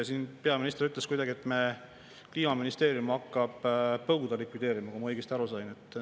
Siin peaminister ütles kuidagi, et Kliimaministeerium hakkab põuda likvideerima, kui ma õigesti aru sain.